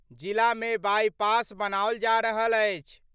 जिला मे बाईपास बनाओल जा रहल अछि।